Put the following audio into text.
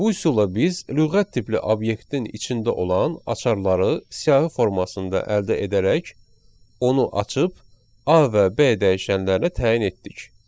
Bu üsulla biz lüğət tipli obyektin içində olan açarları siyahı formasında əldə edərək, onu açıb A və B dəyişənlərinə təyin etdik.